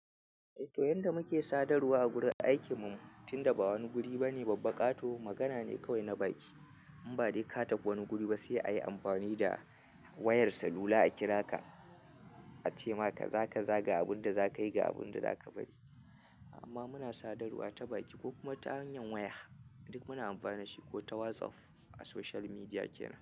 To yanda muke sadarwa a gurin aikinmu tunda ba wani guri bane babba, ƙato magana ne kawai na baki. In ba dai ka tafi wani guri ba sai ayi amfani da wayar salu Lula a kira ka a ce ma kazakaza ga abun da za ka yi ga abun da zaka bari. Amma muna sadarwa ta baki ko kuma ta hanyar waya duk muna amfani da shi ko ta WhatsApp a social media kenan.